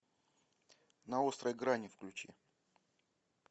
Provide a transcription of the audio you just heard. на острой грани включи